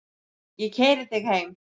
Ég keyri þig heim.